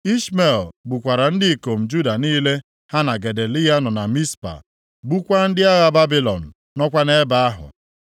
Ishmel gbukwara ndị ikom Juda niile ha na Gedaliya nọ na Mizpa, gbukwaa ndị agha Babilọn nọkwa nʼebe ahụ.